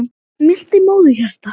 Milt er móðurhjarta.